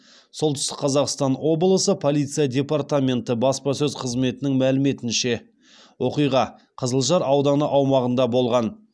солтүстік қазақстан облысы полиция департаменті баспасөз қызметінің мәліметінше оқиға қызылжар ауданы аумағында болған